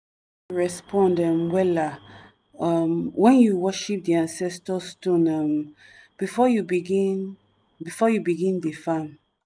respond um wella um when you worship di ancestor stone um before you begin before you begin dey farm.